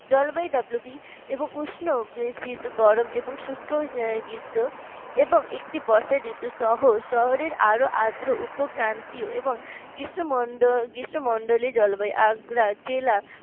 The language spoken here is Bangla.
জলবায়ু WB এবং উষ্ণ বেশ গরম এবং শুষ্ক গ্রীষ্মএবং একটি বর্ষা ঋতু সহ শহরের আরো আদ্র উপক্রান্তি ও এবং গ্রীষ্মমন্ডল জলবায়ু অগ্রা জেলা